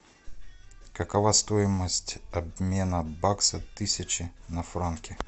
какова стоимость обмена бакса тысячи на франки